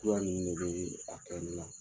nininu de bɛ a kɛli la